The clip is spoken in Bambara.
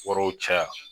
Yɔrɔw caya